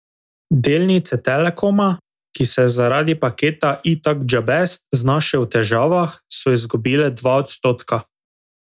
Delnice Telekoma, ki se je zaradi paketa Itak Džabest znašel v težavah, so izgubile dva odstotka.